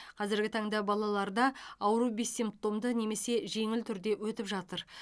қазіргі таңда балаларда ауру бессимптомды немесе жеңіл түрде өтіп жатыр